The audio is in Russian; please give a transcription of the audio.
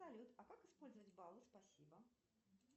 салют а как использовать баллы спасибо